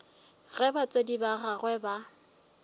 ge batswadi ba gagwe ba